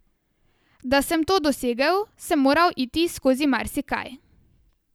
Da sem to dosegel, sem moral iti skozi marsikaj.